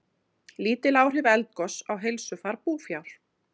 Lítil áhrif eldgoss á heilsufar búfjár